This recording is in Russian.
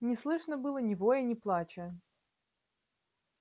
не слышно было ни воя ни плача